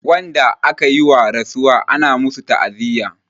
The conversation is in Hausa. Wanda akayi wa rasuwa ana masu ta'aziya